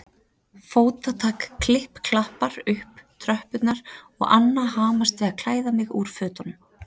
Fótatak klipp-klappar upp tröppurnar og Anna hamast við að klæða mig úr fötunum.